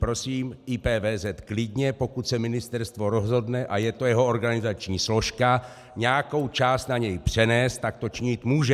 Prosím, IPVZ klidně, pokud se ministerstvo rozhodne, a je to jeho organizační složka, nějakou část na něj přenést, tak to činit může.